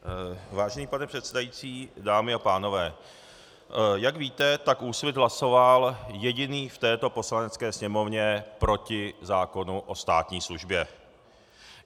Vážený pane předsedající, dámy a pánové, jak víte, tak Úsvit hlasoval jediný v této Poslanecké sněmovně proti zákonu o státní službě.